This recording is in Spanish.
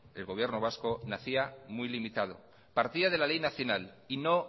el gobierno vasco nacía muy limitado partía de la ley nacional y no